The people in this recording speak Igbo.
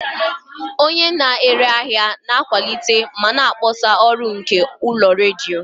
Onye na-ere ahịa na-akwalite ma na-akpọsa ọrụ nke ụlọ redio.